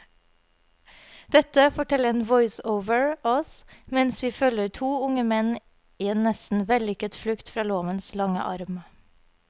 Dette forteller en voiceover oss mens vi følger to unge menn i en nesten vellykket flukt fra lovens lange arm.